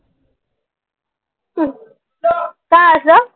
का